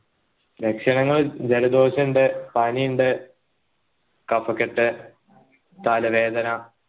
ലക്ഷണങ്ങൾ ജലദോഷം ഇണ്ട് പണി ഇണ്ട് കഫക്കെട്ട് തലവേദന